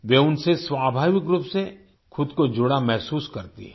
वे उनसे स्वाभाविक रूप से खुद को जुड़ा महसूस करती हैं